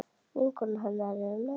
Vinkona hennar er með henni.